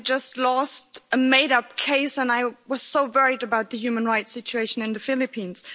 She had just lost a made up case, and I was so worried about the human rights situation in the Philippines.